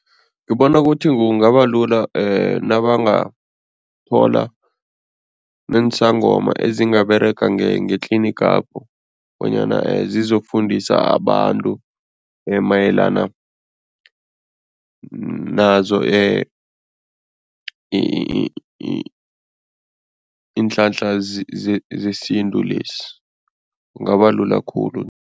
Ngibona kuthi kungaba lula nabangathola neensangoma ezingaberega ngetlinigapho bonyana zizokufundisa abantu mayelana nazo iinhlanhla zesintu lezi, kungaba lula khulu.